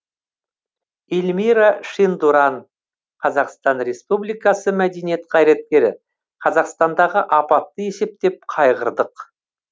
елмира шендуран қазақстан республикасы мәдениет қайраткері қазақстандағы апатты есептеп қайғырдық